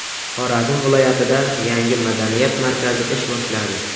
Xorazm viloyatida yangi madaniyat markazi ish boshladi.